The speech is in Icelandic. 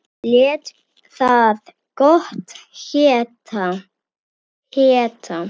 Lét það gott heita.